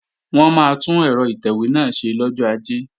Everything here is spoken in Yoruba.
Wọn máa tún ẹ̀rọ ìtẹ̀wé náà ṣe lọ́jọ́ Ajé